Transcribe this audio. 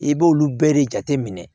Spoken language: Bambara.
I b'olu bɛɛ de jateminɛ